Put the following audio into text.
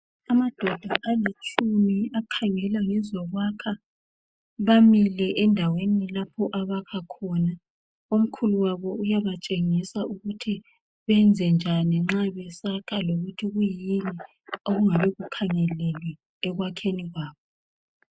Amadonda alitshumi akhangela ngezokwakha bamile endaweni lapho abakha khona omkhulu wabo uyabatshengisa ukuthi benze njani nxa besakha lokuthi kuyini okungabe kukhangelelwe ekwakheni kwabo.